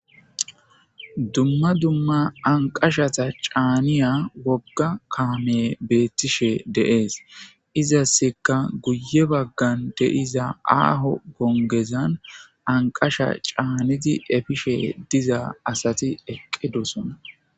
Dumma dumma anqashata caaniya wogga kaame beettishe deees izasseka guye baggan deiza aaho gongezan anqasha caanidi efishe diza asati eqqidosona.